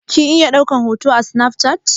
Kin iya ɗaukan hoto a snaf chat?